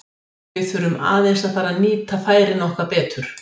Við þurfum aðeins að fara að nýta færin okkar betur.